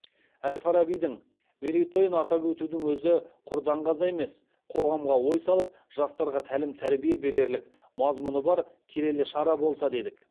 әл фарабидің мерейтойын атап өтудің өзі құр даңғаза емес қоғамға ой салып жастарға тәлім тәрбие берерлік мазмұны бар келелі шара болса дедік